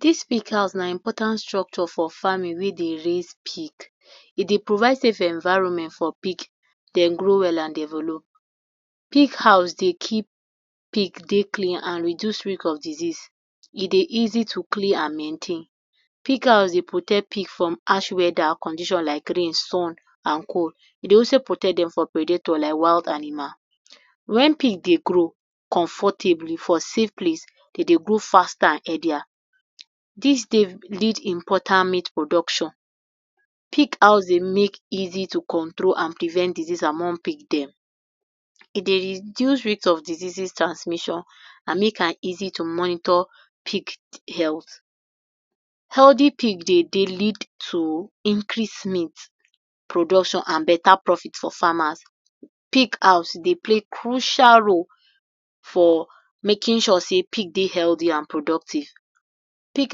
Dis big house na important structure for farming wey dey raise pig, e dey provide safe environment for pig dem grow well and develop.pig how dey keep pig dey clean and reduce outbreak of disease dey easy to clean and maintain, pig house dey protect pig from harsh weather and conditions like rain sun and cold, e dey also protect dem from predator like wild animals, when pig dey grow comfortably for safe place dem dey grow faster and healthier, dis dey lead important meat production, pig house dey make easy to control and prevent disease among pig den, e dey reduce rate of diseases transmission and make am easy to monitor pig health, healthy pig dey lead to increase meat production and better profit for farmers, pig house dey play crucial role for making sure sey pig dey healthy and productive, pig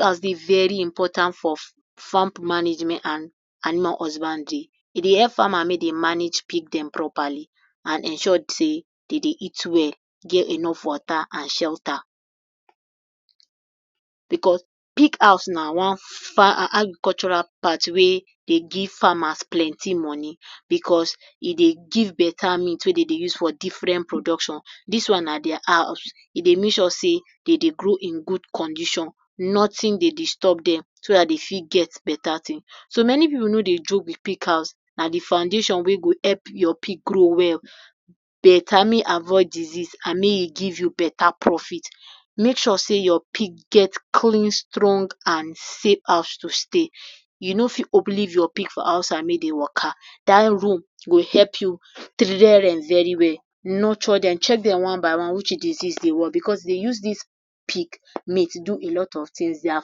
house dey very important for farm management and animal husbandry e dey help farmer make dem manage pig dem properly and ensure sey dem dey eat well get enough water and shelter, because pig house na one agricultural part wey dey give farmers plenty money, because e dey give better meat wey dem dey use for different production dis one dia house e dey make sure sey dem dey grow in good condition nothings dey disturb dem so dem so dat dem fit get better thing, many pipu no dey joke with pig house na de foundation wey go help your pig grow well, better, make e avoid disease and make e give you better profit, Mae sure say your pig get clean strong and safe house to stay u no fit leave your pig for outside and make dem Waka dat room go help you train dem very well nurture dem check den one by one which disease dey, because dey use dis pig meat do a lot of things dia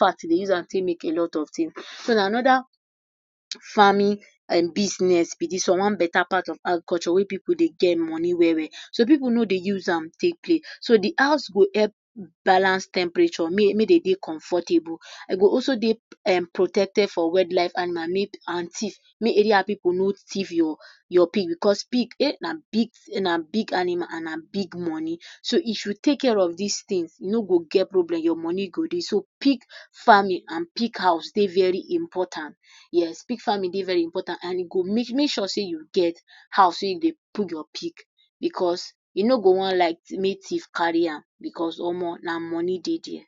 garden dey use am take make a lot of things, su na another farming business b dis one, one better part of agric wey pipu dey get money well we’ll, su pipu no dey use am take play, so de house go help balance temperature make dem dey comfortable, e go also dey protected from wild animals and thief make Ada pipu no thief your pig because pig na big animal and na big money, so if u take care of dis thing u no go get problem your money go dey so pig farming and pig house dey very important, yes pig farming dey very important e go make sure dey u get house wey u dey put your pig because u no go wan like make thief carry am because Omo na money dey there.